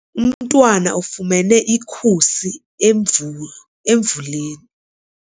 Umntwana ufumene ikhusi emvuleni.